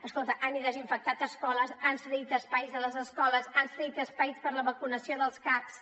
escolta han desinfectat escoles han cedit espais a les escoles han cedit espais per la vacunació dels caps